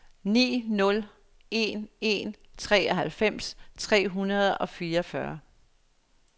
ni nul en en treoghalvfems tre hundrede og fireogfyrre